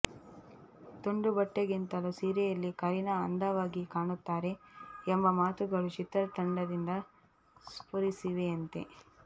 ತುಂಡು ಬಟ್ಟೆಗಿಂತಲೂ ಸೀರೆಯಲ್ಲಿ ಕರೀನಾ ಅಂದವಾಗಿ ಕಾಣುತ್ತಾರೆ ಎಂಬ ಮಾತುಗಳು ಚಿತ್ರತಂಡದಿಂದ ಸ್ಫುರಿಸಿವೆಯಂತೆ